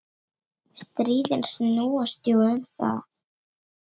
Stríðin snúast jú um það.